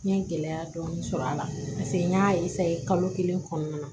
N ye gɛlɛya dɔɔnin sɔrɔ a la n y'a kalo kelen kɔnɔna na